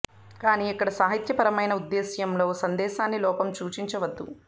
కానీ ఇక్కడ సాహిత్యపరమైన ఉద్దేశ్యంలో సందేశాన్ని లోపం సూచించదు ఉంది